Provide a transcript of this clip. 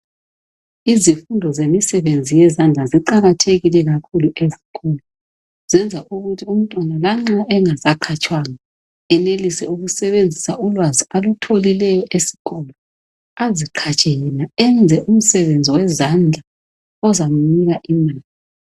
Izifundo zemisebenzi yezandla ziqakathekile kakhulu ezikolo zenza ukuthi umntwana lanxa engasaqhatshwanga enelise ukusebenzisa ulwazi alutholileyo esikolo aziqhatshe yena enze umsebenzi wezandla ozamnika imali.